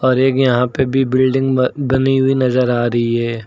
और एक यहां पे भी बिल्डिंग ब बनी हुई नजर आ रही है।